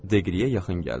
Deqriyə yaxın gəldi.